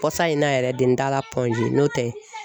Kɔsan in na yɛrɛ de n taala n'o tɛ